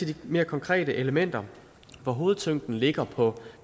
de mere konkrete elementer hvor hovedtyngden ligger på